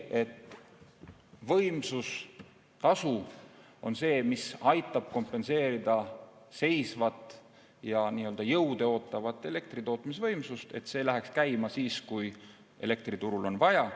Just võimsustasu on see, mis aitab kompenseerida jõude seisvat ja ootavat elektritootmisvõimsust, et see läheks käima siis, kui elektriturul on vaja.